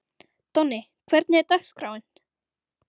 Donni, hvernig er dagskráin?